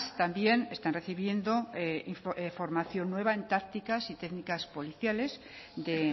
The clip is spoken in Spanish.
también están recibiendo formación nueva en tácticas y técnicas policiales de